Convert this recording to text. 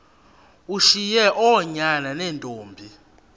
ushiye oonyana neentombi